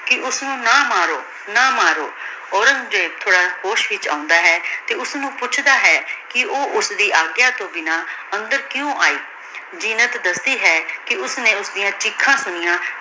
ਕੇ ਓਸਨੂ ਨਾ ਮਾਰੋ ਨਾ ਮਾਰੋ ਔਰੇਨ੍ਗ੍ਜ਼ੇਬ ਹੋਸ਼ ਚ ਆਉਂਦਾ ਹੈ ਤੇ ਓਸਨੂ ਪੋਚਦਾ ਹੈ ਕੇ ਊ ਓਸਦੀ ਆਗਯਾ ਤੋਂ ਬਿਨਾ ਅੰਦਰ ਕ੍ਯੂ ਆਈ ਜੀਨਤ ਦਸਦੀ ਹੈ ਕੇ ਓਸਨੇ ਓਸ੍ਦਿਯਾਂ ਚੀਖਾਂ ਸੁਨਿਯਾਂ